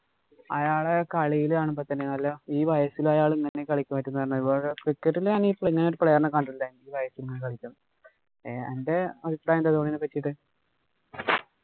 അയാളെ കളിയില് കാണുമ്പോള്‍ തന്നെ ഈ വയസില് അയാള് കളിക്കാന്‍ പറ്റുന്ന തന്നെ cricket ലാണേ ഇങ്ങനെ ഒരു player അന്‍റെ അഭിപ്രായം എന്താ ധോണീനെ പറ്റീട്ട്.